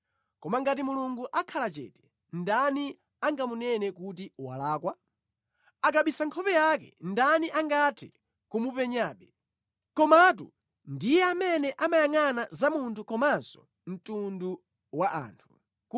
Koma ngati Mulungu akhala chete, ndani angamunene kuti walakwa? Akabisa nkhope yake, ndani angathe kumupenyabe? Komatu ndiye amene amayangʼana za munthu komanso mtundu wa anthu,